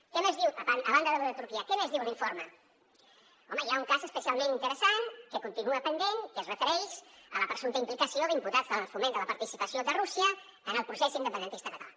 què més diu a banda de lo de turquia què més diu l’informe home hi ha un cas especialment interessant que continua pendent que es refereix a la presumpta implicació d’imputats en el foment de la participació de rússia en el procés independentista català